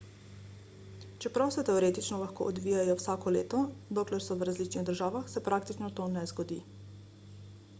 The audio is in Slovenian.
čeprav se teoretično lahko odvijajo vsako leto dokler so v različnih državah se praktično to ne zgodi